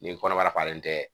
Ni kɔnɔbara falen tɛ